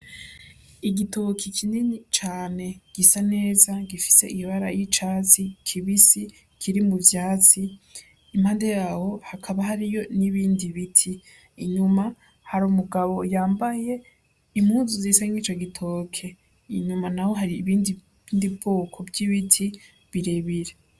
Igitoki kinini cane gisa neza gifise ibara ry'icatsi kibisi, kiri mu vyatsi Impande yaho hakaba hariyo n'ibindi biti inyuma hari umugabo yambaye impuzu zisa nkico gitoke inyuma naho hari ubundi bwoko bw'ibiti birebire.